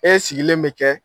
E sigilen bɛ kɛ.